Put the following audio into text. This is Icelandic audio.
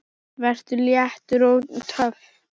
Vertu léttur. og töff!